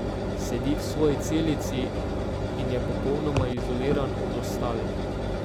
Sedi v svoji celici in je popolnoma izoliran od ostalih.